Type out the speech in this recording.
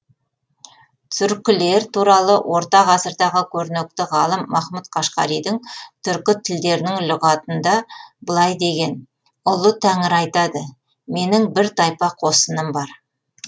түркілер туралы орта ғасырдағы көрнекті ғалым махмұд қашқаридың түркі тілдерінің лұғатында былай деген ұлы тәңір айтады менің бір тайпа қосыным бар